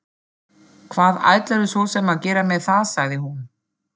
Hvað ætlarðu svo sem að gera með það, sagði hún.